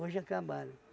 Hoje acabaram.